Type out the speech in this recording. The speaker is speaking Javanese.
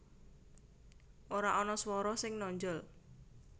Ora ana swara sing nonjol